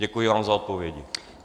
Děkuji vám za odpovědi.